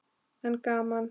En gaman.